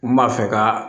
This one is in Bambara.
N b'a fɛ ka